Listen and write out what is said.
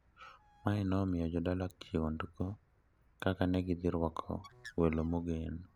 Mae ne omiyo jodala kihondko kaka ne gidhi rwako welo mogen.